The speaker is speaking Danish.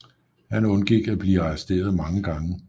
Han undgik at blive arresteret mange gange